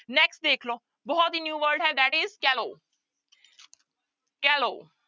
Next ਦੇਖ ਲਓ ਬਹੁਤ ਹੀ new word ਹੈ that is callow callow